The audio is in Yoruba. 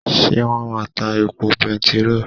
Ṣé wón máa ta epo bẹntiró?